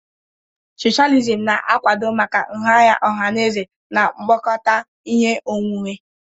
Socialism na-akwado maka nha anya ọha na eze na mkpokọta ihe onwunwe.